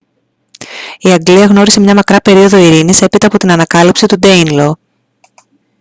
η αγγλία γνώρισε μια μακρά περίοδο ειρήνης έπειτα από την ανακατάληψη του ντέινλο